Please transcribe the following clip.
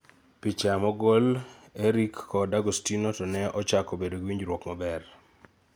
Picha mogol Erick kod Agustino to ne ochako bedo gi winjruok maber.